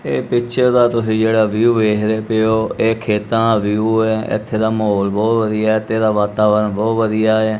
ਇਹ ਪਿੱਛੇ ਦਾ ਤੁਸੀਂ ਜਿਹੜਾ ਵਿਊ ਵੇਖਦੇ ਪਏ ਹੋ ਇਹ ਖੇਤਾਂ ਦਾ ਵਿਊ ਹੈ ਇੱਥੇ ਦਾ ਮਾਹੌਲ ਬਹੁਤ ਵਧੀਆ ਹੈ ਐਥੇ ਦਾ ਵਾਤਾਵਰ ਬਹੁਤ ਵਧੀਆ।